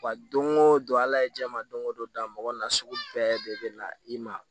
Wa don o don ala ye jɛman don o don da mɔgɔ nasugu bɛɛ de bɛ na i ma